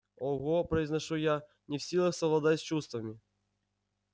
ого произношу я не в силах совладать с чувствами